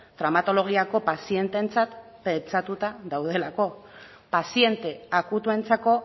traumatologiako pazienteentzat pentsatuta daudelako paziente akutuentzako